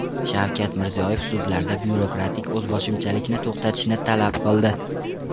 Shavkat Mirziyoyev sudlarda byurokratik o‘zboshimchalikni to‘xtatishni talab qildi.